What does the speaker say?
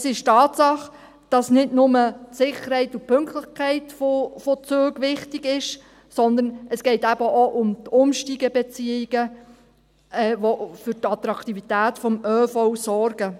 Es ist eine Tatsache, dass nicht nur die Sicherheit und Pünktlichkeit von Zügen wichtig sind, sondern es geht eben auch um die Umsteigebeziehungen, die für die Attraktivität des ÖVs sorgen.